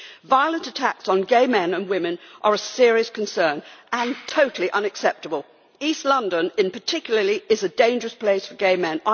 Violent attacks on gay men and women are a serious concern and totally unacceptable. East London, in particular, is a dangerous place for gay men.